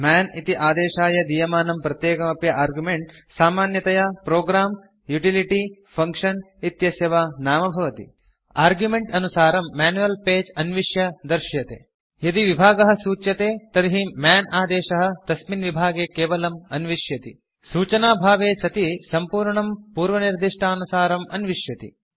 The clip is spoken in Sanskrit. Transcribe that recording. मन् इति आदेशाय दीयमानं प्रत्येकम् अपि आर्गुमेन्ट् सामान्यतया प्रोग्रं युटिलिटी फंक्शन इत्यस्य वा नाम भवति आर्गुमेन्ट् अनुसारं मैन्युअल् पगे अन्विष्य दर्श्यते यदि विभागः सूच्यते तर्हि मन् आदेशः तस्मिन् विभागे केवलम् अन्विष्यति सूचनाभावे सति सम्पूर्णं पूर्वनिर्दिष्टानुसारम् अन्विष्यति